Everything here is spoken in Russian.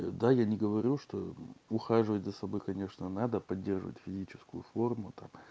да я не говорю что ухаживать за собой конечно надо поддерживать физическую форму там